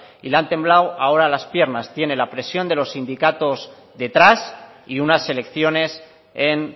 y le han temblado ahora las piernas tiene la presión de los sindicatos detrás y unas elecciones en